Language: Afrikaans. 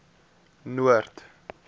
noord